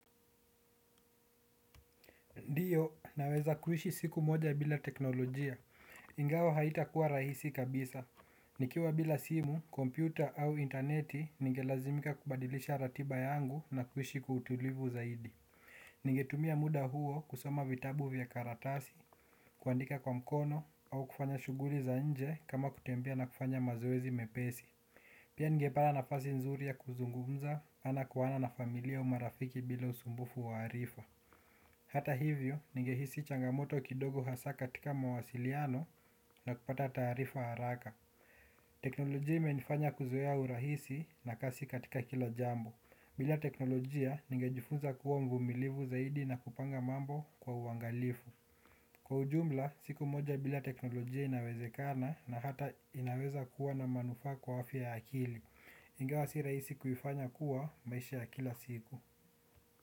Ndiyo, naweza kuishi siku moja bila teknolojia. Ingawa haitakuwa rahisi kabisa. Nikiwa bila simu, kompyuta au inteneti ningelazimika kubadilisha ratiba yangu na kuishi kwa utulivu zaidi. Ningetumia muda huo kusoma vitabu vya karatasi, kuandika kwa mkono au kufanya shughuli za nje kama kutembea na kufanya mazoezi mepesi. Pia ningepata nafasi nzuri ya kuzungumza ana kwa ana na familia au marafiki bila usumbufu wa arifa. Hata hivyo, ningehisi changamoto kidogo hasa katika mawasiliano na kupata taarifa haraka. Teknolojia imenifanya kuzoea urahisi na kasi katika kila jambo. Bila teknolojia, nigejifunza kuwa mvumilivu zaidi na kupanga mambo kwa uangalifu. Kwa ujumla, siku moja bila teknolojia inawezekana na hata inaweza kuwa na manufaa kwa afya ya akili. Ingawa si rahisi kuifanya kuwa maisha ya kila siku.